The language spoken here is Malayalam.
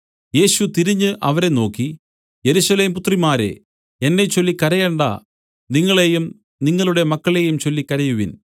യേശു തിരിഞ്ഞു അവരെ നോക്കി യെരൂശലേം പുത്രിമാരേ എന്നെച്ചൊല്ലി കരയണ്ട നിങ്ങളെയും നിങ്ങളുടെ മക്കളെയും ചൊല്ലി കരയുവിൻ